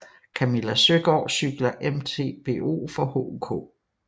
Camilla Søgaard cykler MTBO for HOK